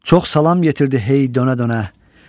Çox salam gətirdi hey dönə-dönə.